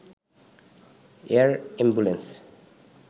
air ambulance